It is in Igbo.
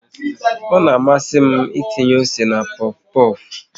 Ọ na amasị m ịtinye ose na pofu pofu